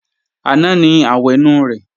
Àná ni àwẹ̀nù rẹ̀